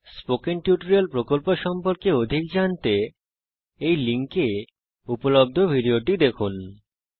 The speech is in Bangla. স্পোকেন টিউটোরিয়াল প্রকল্প সম্পর্কে অধিক জানতে এই লিঙ্কে উপলব্ধ ভিডিওটি দেখুন